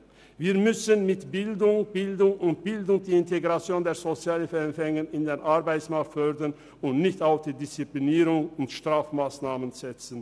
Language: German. Wir müssen mit Bildung und Bildungsintegration den Weg der Sozialhilfeempfänger in den Arbeitsmarkt fördern und nicht auf Disziplinierung und Strafmassnahmen setzen.